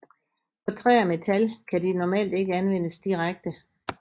På træ og metal kan de normalt ikke anvendes direkte